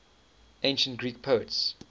ancient greek poets